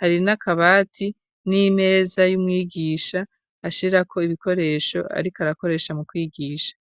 hari n'akabati, n'imeza y'umwigisha, ashirako ibikoresho, ariko arakoresha, mu kwigisha.